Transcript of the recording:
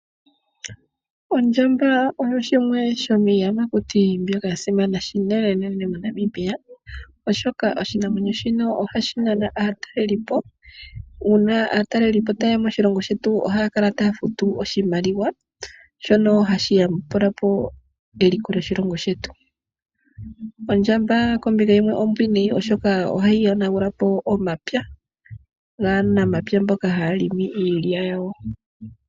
Ondjamba oyo yimwe yo miiyamakuti mbyono yasimana unene moNamibia. Oshoka oshinamwenyo shino ohashi nana aatalelipo, uuna aatalelipo ta yeya moshilongo shetu ohaya futu oshimaliwa shino hashi yambulapo eliko lyoshilongo shetu. Kombinga yimwe ondjamba ombwiinayi oshoka ohayi yonagulapo omapya gaanamapya mboka hayalimi omapyagawo.